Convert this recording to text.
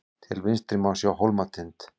til vinstri má sjá hólmatind